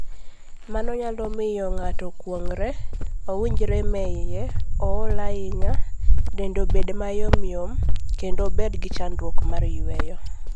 Mano nyalo miyo ng'ato okuong're, owinj rem e iye, ool ahinya, dende bed mayomyom, kendo obed gi chandruok mar yueyo.